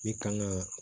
Ne kan ka